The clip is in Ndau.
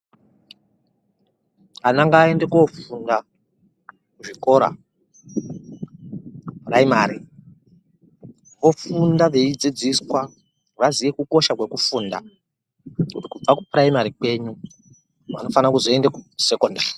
Ana ngaende kofunda kuzvikora kupuraimari ofunda veidzidziswa vaziye kukosha kwekufunda kuti kubva kupuraimari kwenyu vanofana kuzoenda kusekondari.